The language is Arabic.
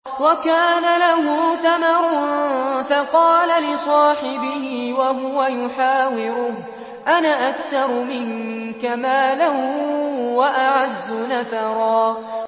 وَكَانَ لَهُ ثَمَرٌ فَقَالَ لِصَاحِبِهِ وَهُوَ يُحَاوِرُهُ أَنَا أَكْثَرُ مِنكَ مَالًا وَأَعَزُّ نَفَرًا